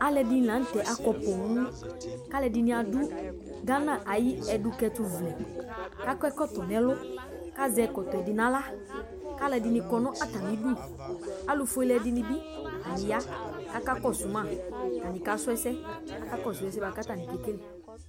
Alu ɛdini laŋtɛ akɔ poooŋKalu ɛdini adʋ Ghana ayiʋ ɛdukɛtu vlɛ, kakɔ ɛkɔtɔ nɛlu, kazɛ ɛkɔtɔɛ bi naɣlaKalu ɛdini kɔ natamidu Alufuele dinibi, atani ya kakakɔsuma Atani kasuɛsɛ Akakɔsʋ ɛsɛ katani kekele